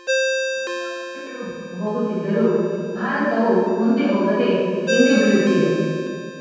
ಹೊಸ ವರ್ಷಗಳು ಬಂದು ಹೋಗುತ್ತಿದ್ದರೂ ಭಾರತವು ಮುಂದೆ ಹೋಗದೆ ಹಿಂದೆಬೀಳುತ್ತಿದೆ